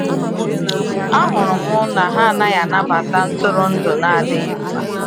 Ahụrụ m na ha anaghị anabata ntụrụndụ na adịghị mma.